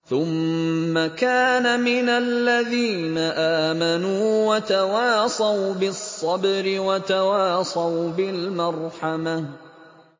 ثُمَّ كَانَ مِنَ الَّذِينَ آمَنُوا وَتَوَاصَوْا بِالصَّبْرِ وَتَوَاصَوْا بِالْمَرْحَمَةِ